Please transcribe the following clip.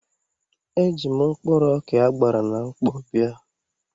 Eji m mkpụrụ ọkà a gbara na mkpọ bịa.